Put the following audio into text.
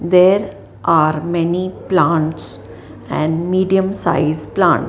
there are many plants and medium size plant.